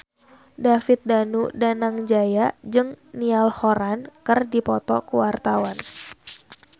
David Danu Danangjaya jeung Niall Horran keur dipoto ku wartawan